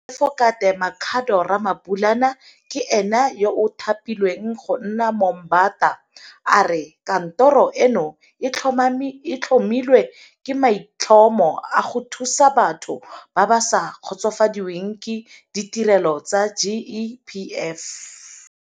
Moatefokate Makhado Ramabulana ke ene yo a thapilweng go nna Moombata. A re kantoro eno e tlhomilwe ka maitlhomo a go thusa batho ba ba sa kgotsofadiweng ke ditirelo tsa GEPF.